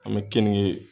An bɛ keninke